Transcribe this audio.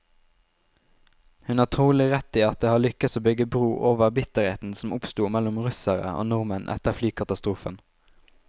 Hun har trolig rett i at det har lykkes å bygge bro over bitterheten som oppsto mellom russere og nordmenn etter flykatastrofen.